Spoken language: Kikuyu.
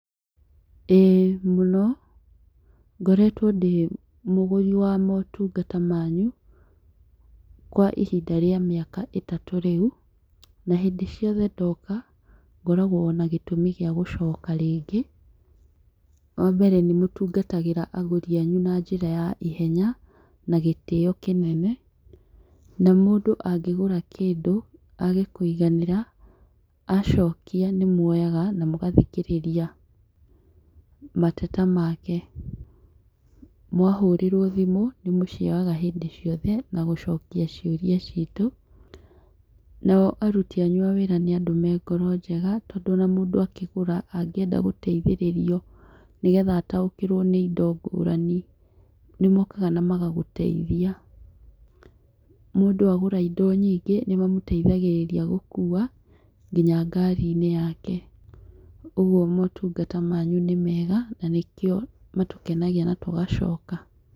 Ĩĩ mũno ngoretwo ndĩ mũgũri wa motungata manyu, kwa ihinda rĩa mĩaka ĩtatũ rĩu na hĩndĩ ciothe ndoka ngoragwo na gĩtũmi gĩa gũcoka rĩngĩ, wa mbere nĩ mũtu gatagĩra agũri anyu na njĩra ya ihenya na gĩtĩo kĩnene na mũndũ angĩgũra kĩndũ age kũiganĩra, acokia nĩ mwoyaga na mũgathikĩrĩria mateta make, mwahũrĩrwo thimũ nĩ mũcioyaga hĩndĩ ciothe na gũcokia ciũria ciitũ nao aruti anyu a wĩra nĩ andũ marĩ ngoro njega tondũ ona mũndũ akĩgũra angĩenda gũteithĩrĩrio nĩgetha ataũkĩrwo nĩ indo ngũrani nĩmokaga na magagũteithia, mũndũ agũra indo nyingĩ nĩ mamateithagĩrĩria gũkua nginya ngari-inĩ yake, ũguo motungata manyu nĩ mega nakĩo matũkenagia na tũgacoka.